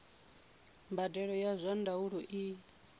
mbadelo ya zwa ndaulo i